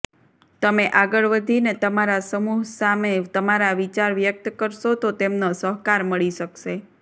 તમે આગળ વધીને તમારા સમૂહ સામે તમારા વિચાર વ્યક્ત કરશો તો તેમનો સહકાર મળી શકશે